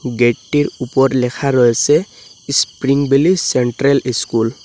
গেটটির উপর লেখা রয়েসে স্প্রিং বেলি সেন্ট্রাল ইস্কুল ।